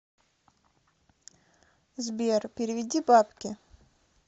сбер переведи бабки